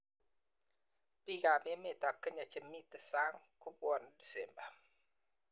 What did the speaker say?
Biikab emetab Kenya che mito sang ko bwoni disemba